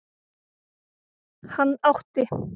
Hann átti